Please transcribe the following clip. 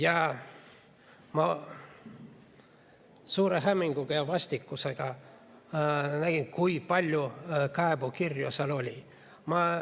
Ja ma suure hämmingu ja vastikusega nägin, kui palju kaebekirju seal oli.